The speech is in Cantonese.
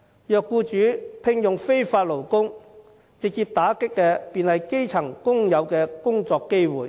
如果僱主聘用非法勞工，直接打擊的就是基層工友的工作機會。